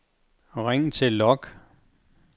ring til log